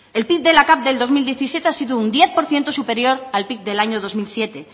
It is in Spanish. el pib de la capv del dos mil diecisiete ha sido un diez por ciento superior al pib del año dos mil siete